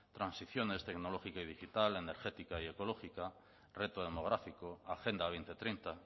transiciones tecnológica y digital energética y ecológica reto demográfico agenda dos mil treinta